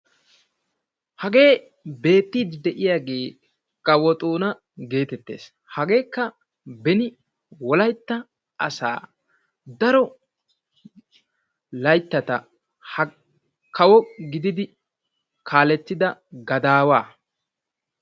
Hagee beettiidi de'iyaagee kawo Xoona gettettees, hageekka beni wolaytta asaa daro layttata kawo gididi kaalletida gadaawa.